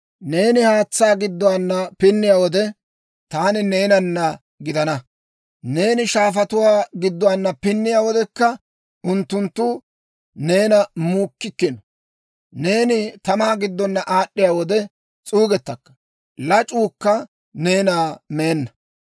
Neeni haatsaa gidduwaana pinniyaa wode, taani neenana gidana. Neeni shaafatuwaa gidduwaana pinniyaa wodekka unttunttu neena muukkikkino. Neeni tamaa giddona aad'd'iyaa wode, s'uugettakka; lac'uukka neena meenna.